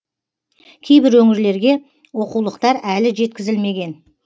кейбір өңірлерге оқулықтар әлі жеткізілмеген